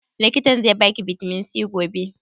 Likitan zai ba ki bitamin C gobe?